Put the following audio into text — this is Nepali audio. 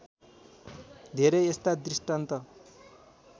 धेरै यस्ता दृष्टान्त